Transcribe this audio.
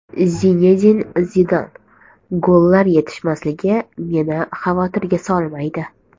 Zinedin Zidan: Gollar yetishmasligi meni xavotirga solmaydi.